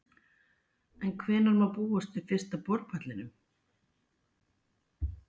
En hvenær má búast við fyrsta borpallinum?